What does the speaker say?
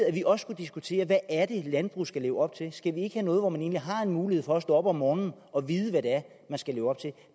at vi også skulle diskutere hvad er det et landbrug skal leve op til skal vi ikke have noget hvor man egentlig har en mulighed for at stå op om morgenen og vide hvad det er man skal leve op til